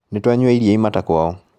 Nĩtwanyua iria imata kwao